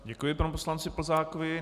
Děkuji panu poslanci Plzákovi.